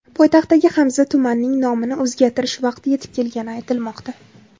Poytaxtdagi Hamza tumanining nomini o‘zgartirish vaqti yetib kelgani aytilmoqda.